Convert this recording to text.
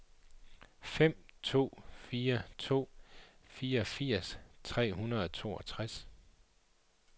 fem to fire to fireogfirs tre hundrede og toogtres